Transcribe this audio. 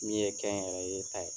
Min ye kɛnyɛrɛye ta ye.